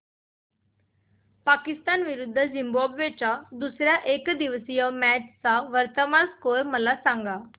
पाकिस्तान विरुद्ध झिम्बाब्वे च्या दुसर्या एकदिवसीय मॅच चा वर्तमान स्कोर मला सांगा